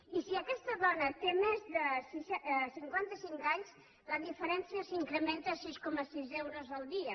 i si aquesta dona té més de cinquantacinc anys la diferència s’incrementa a sis coma sis euros al dia